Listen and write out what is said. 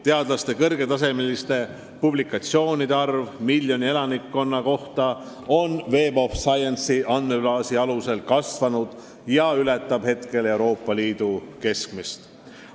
Meie teadlaste kõrgetasemeliste publikatsioonide arv miljoni elaniku kohta on andmebaasi Web of Science alusel kasvanud ja ületab praegu Euroopa Liidu keskmist.